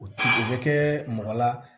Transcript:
O ti o bɛ kɛ mɔgɔ la